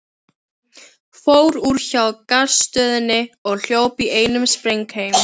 Fór úr hjá Gasstöðinni og hljóp í einum spreng heim.